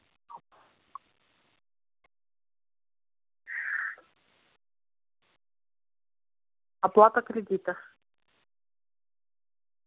оплата кредита